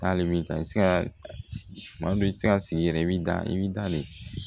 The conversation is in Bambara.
Hali bi i bɛ se ka sigi kuma dɔ i bɛ se ka sigi yɛrɛ i bɛ da i bɛ dan de